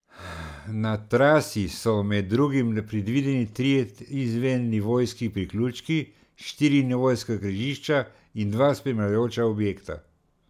Na trasi so, med drugim, predvideni trije izvennivojski priključki, štiri nivojska križišča in dva spremljajoča objekta.